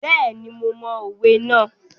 Bẹ́ẹ̀ni, mo mọ òwe náà.